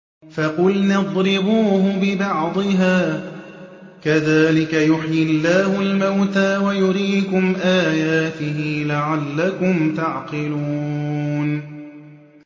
فَقُلْنَا اضْرِبُوهُ بِبَعْضِهَا ۚ كَذَٰلِكَ يُحْيِي اللَّهُ الْمَوْتَىٰ وَيُرِيكُمْ آيَاتِهِ لَعَلَّكُمْ تَعْقِلُونَ